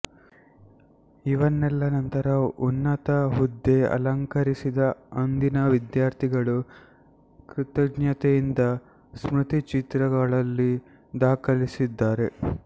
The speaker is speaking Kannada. ಇವನ್ನೆಲ್ಲ ನಂತರ ಉನ್ನತ ಹುದ್ದೆ ಅಲಂಕರಿಸಿದ ಅಂದಿನ ವಿದ್ಯಾರ್ಥಿಗಳು ಕೃತಜ್ಞತೆಯಿಂದ ಸ್ಮೃತಿಚಿತ್ರಗಳಲ್ಲಿ ದಾಖಲಿಸಿದ್ದಾರೆ